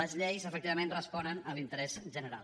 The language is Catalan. les lleis efectivament responen a l’interès general